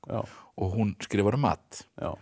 og hún skrifar um mat